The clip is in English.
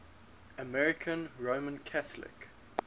american roman catholic